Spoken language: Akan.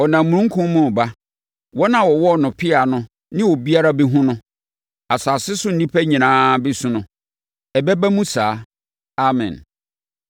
Ɔnam omununkum mu reba. Wɔn a wɔwɔɔ no pea no ne obiara bɛhunu no. Asase so nnipa nyinaa bɛsu no. Ɛbɛba mu saa. Amen.